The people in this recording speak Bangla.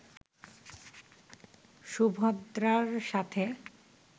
সুভদ্রার সাথে